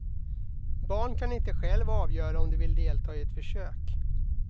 Barn kan inte själva avgöra om de vill delta i ett försök.